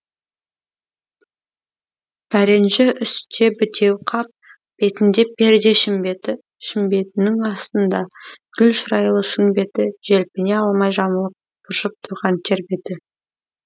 пәренжі үсте бітеу қап бетінде перде шімбеті шімбетінің астында гүл шырайлы шын беті желпіне алмай жамылып быршып тұрған тер беті